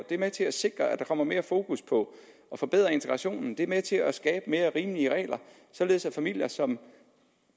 er med til at sikre at der kommer mere fokus på at forbedre integrationen det er med til at skabe mere rimelige regler således at familier som